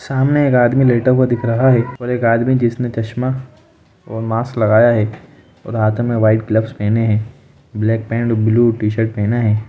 सामने एक आदमी लेटा हुआ दिख रहा है और एक आदमी जिसने चश्मा और मास्क लगाया है और हाथ में व्हाइट ग्लफ्स पहने है black pant blue -T-shirt पहना है।